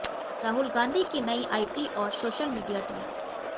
राहुल गांधी की नई आईटी और सोशल मीडिया टीम